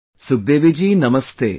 Sukhdevi ji Namaste